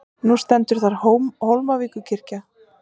Nú stendur þar Hólmavíkurkirkja.